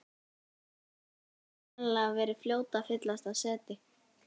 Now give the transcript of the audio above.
Askjan hefur sennilega verið fljót að fyllast af seti.